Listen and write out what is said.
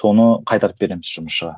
соны қайтарып береміз жұмысшыға